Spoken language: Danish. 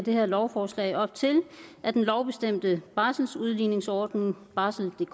det her lovforslag op til at den lovbestemte barseludligningsordning barseldk